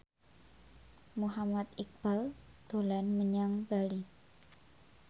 Muhammad Iqbal dolan menyang Bali